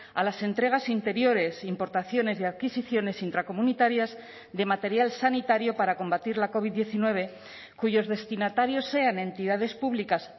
a las entregas interiores importaciones y adquisiciones intracomunitarias de material sanitario para combatir la covid diecinueve cuyos destinatarios sean entidades públicas